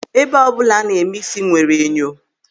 Ébé ọbụla a na-eme ísí nwere enyo.